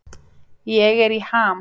Ég er í ham.